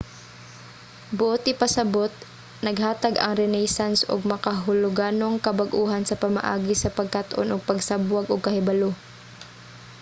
buot ipasabot naghatag ang renaissance og makahuluganong kabag-ohan sa pamaagi sa pagkat-on ug pagsabwag og kahibalo